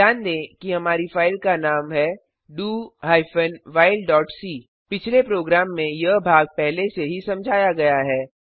ध्यान दें कि हमारी फ़ाइल का नाम है do whileसी पिछले प्रोग्राम में यह भाग पहले से ही समझाया गया है